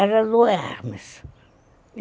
Era do Hermes.